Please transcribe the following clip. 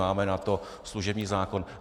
Máme na to služební zákon.